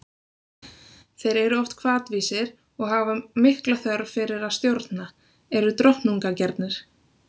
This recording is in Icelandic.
Þeir eru oft hvatvísir og hafa mikla þörf fyrir að stjórna, eru drottnunargjarnir.